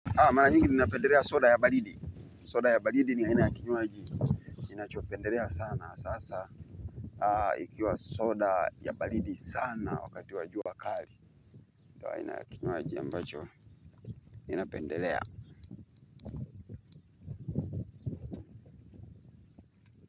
Haa, mara mingi ninapendelea soda ya baridi. Soda ya baridi ni aina ya kinywaji. Ninachopendelea sana sasa. Haa, ikiwa soda ya baridi sana wakati wa jua kali. Aina ya kinywaji ambacho, ninapendelea.